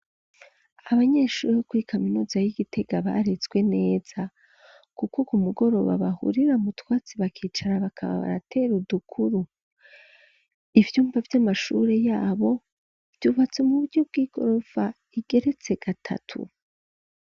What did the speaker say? Abanyeshure, bo kuri kaminuza y'i Gitega, barezwe neza, kuko ku mugoroba, bahurira mu twatsi, bakicara bakana baratera udukuru, ivyumba vy'amashure yabo, vyubatse mu buryo bw'igorofa, igeretse gatatu.